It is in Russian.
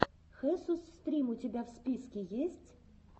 хесус стрим у тебя в списке есть